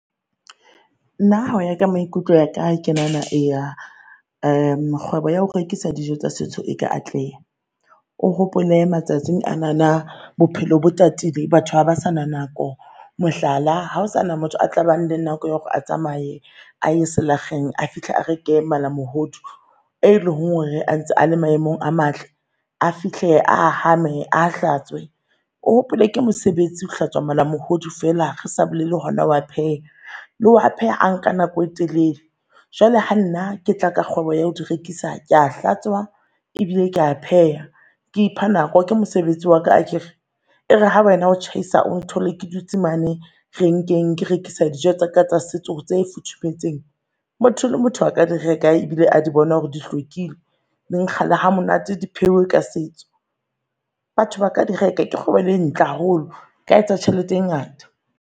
Nna hoya ka maikutlo a ka ke nahana ea kgwebo ya ho rekisa dijo tsa setso e ka atleha. O hopole matsatsing a na na bophelo bo tatile, batho haba sana nako mohlala, hao sana motho a tlabang le nako ya hore a tsamae aye selakgeng a fihle a re ke malamohodu, e leng hore a ntse a le maemong a matle, a fihle a hamme a hlatswe. O hopole ke mosebetsi ho hlatswa malamohodu fela re sa bolele hona ho a pheha le ho a pheha anka nako e telele. Jwale ha nna ke tla ka kgwebo ya ho di rekisa. Kea hlatswa ebile kea pheha, ke ipha nako ke mosebetsi wa ka a kere. E re ha wena o tjhaisa, o nthole ke dutse mane renkeng ke rekisa dijo tsa ka tsa setso tse futhumetseng. Motho le motho a ka di reka ebile a di bona hore di hlwekile, di nkga le ha monate, di pheuwe ka setso. Batho ba ka di reka ke kgwebo le ntle haholo, e ka etsa tjhelete e ngata.